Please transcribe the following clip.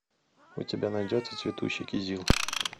у тебя найдется цветущий кизил